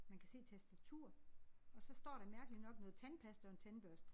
Man kan se et tastatur og så står der mærkeligt nok noget tandpasta og en tandbørste